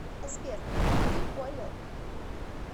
сбер ты понял